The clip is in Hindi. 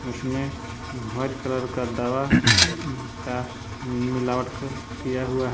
उसमें व्हाइट कलर का दवा का मिलावट किया हुआ है।